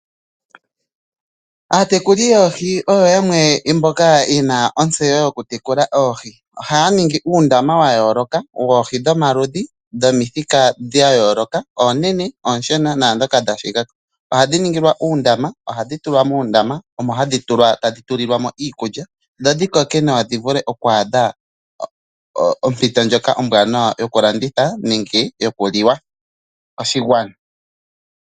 Aagekuli yoohi oyo yamwe mboka yena ontseyo yokutekula oohi, ohaya ningi uundama wa yooloka woohi dhomaludhi, dhomithika dha yooloka oonene, ooshona naandhoka dha shigako, ohadhi ningilwa uundama, ohahdi tula muundama omohadhi tula tadhi tulilwamo iikulya, dho dhikoke nawa dhi vule okwaadha ompito ombwaanawa yokulanditha nenge yokuliwa koshigwana.